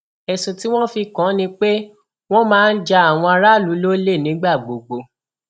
ẹsùn tí wọn fi kàn án ni pé wọn máa ń ja àwọn aráàlú lólè nígbà gbogbo